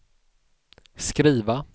skriva